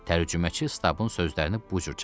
Tərcüməçi Stabın sözlərini bu cür çatdırdı.